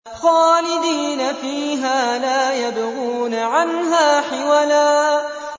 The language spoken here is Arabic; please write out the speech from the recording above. خَالِدِينَ فِيهَا لَا يَبْغُونَ عَنْهَا حِوَلًا